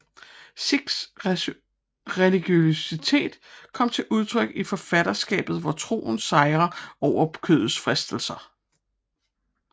Sicks religiøsitet kom til udtryk i forfatterskabet hvor troen sejrer over kødets fristelser